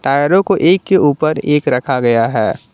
टायरों को एक के ऊपर एक रखा गया है।